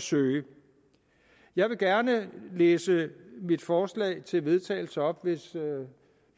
søge jeg vil gerne læse mit forslag til vedtagelse op hvis